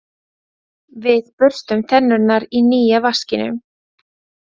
Við burstum tennurnar í nýja vaskinum.